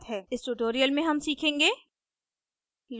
इस tutorial में हम सीखेंगे